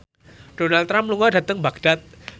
Donald Trump lunga dhateng Baghdad